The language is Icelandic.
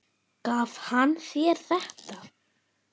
Gaf hann þér þetta?